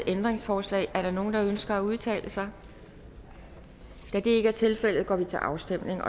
ændringsforslag er der nogen der ønsker at udtale sig da det ikke er tilfældet går vi til afstemning